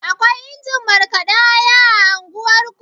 Akwai injin markaɗa aya a unguwarku?